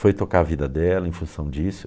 Foi tocar a vida dela em função disso.